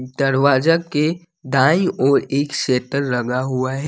दरवाजा के दायी ओर एक स्टेर लगा हुआ है।